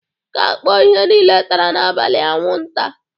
Ka a kpọọ ihe lile tara n'abalị anwụnta